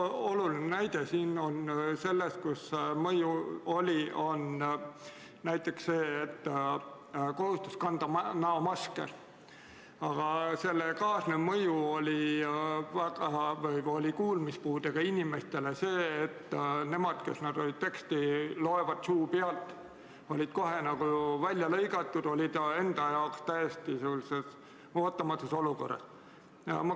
Üks oluline näide selle kohta oli kohustus kanda näomaski, aga selle kaasnev mõju kuulmispuudega inimestele oli see, et kuna nad loevad teksti suu pealt, siis olid nad kohe justkui välja lõigatud, enda jaoks täiesti ootamatus olukorras.